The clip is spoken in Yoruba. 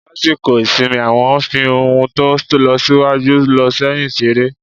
lasikọ isimí, awọn fi n ohún to n losiwajú- loséyin seré